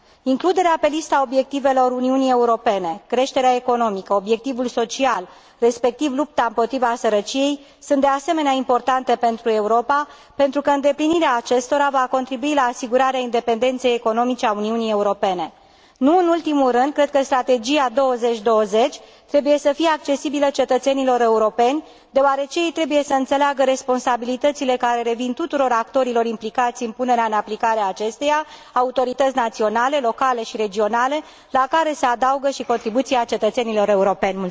Includerea pe lista obiectivelor Uniunii Europene, creșterea economică, obiectivul social, respectiv lupta împotriva sărăciei sunt, de asemenea, importante pentru Europa, pentru că îndeplinirea acestora va contribui la asigurarea independenței economice a Uniunii Europene Nu în ultimul rând, cred că Strategia 2020 trebuie să fie accesibilă cetățenilor europeni, deoarece ei trebuie să înțeleagă responsabilitățile care revin tuturor actorilor implicați în punerea în aplicare a acesteia, autorități naționale, locale și regionale, la care se adaugă și contribuția cetățenilor europeni.